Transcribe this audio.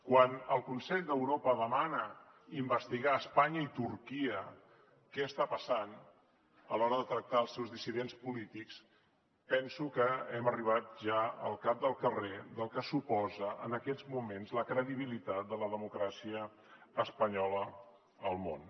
quan el consell d’europa demana investigar a espanya i turquia què està passant a l’hora de tractar els seus dissidents polítics penso que hem arribat ja al cap del carrer del que suposa en aquests moments la credibilitat de la democràcia espanyola al món